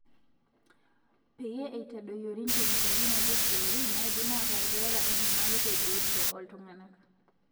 Peyie etadoyiori nkemikali naiijio florine naidim ataa keata enyamali tebiotisho ooltung'anak.